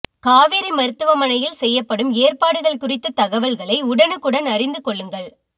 காவேரி மருத்துவமனையில் செய்யப்படும் ஏற்பாடுகள் குறித்த தகவல்களை உடனக்குடன் அறிந்து கொள்ளுங்கள்